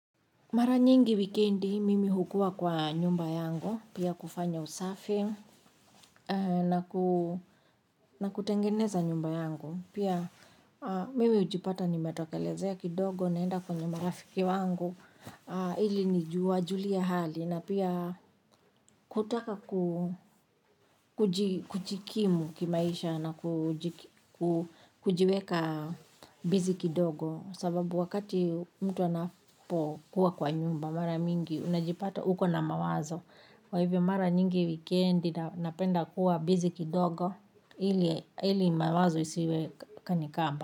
Maranyingi wikendi mimi hukua kwa nyumba yangu. Pia kufanya usafi na kutengeneza nyumba yangu. Pia mimi ujipata nimetokelezea kidogo naenda kwenye marafiki wangu ili ni juwa juliehali na pia kutaka kuu kujikimu kimaisha na kujiweka bizi kidogo. Sababu wakati mtu anapo kuwa kwa nyumba mara mingi unajipata huko na mawazo wa hivyo mara nyingi weekendi napenda kuwa bizi kidogo hili mawazo isiwe kanikamba.